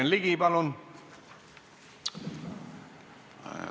Jürgen Ligi, palun!